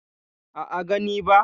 A'a, gani ba.